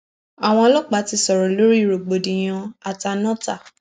àwọn ọlọpàá ti sọrọ lórí rògbòdìyàn àtànọta